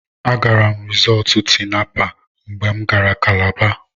Agara m Risọọtụ Tinapa mgbe m gara Kalaba.